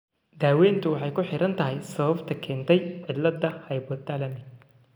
Daaweyntu waxay ku xiran tahay sababta keentay cilladda hypothalamic.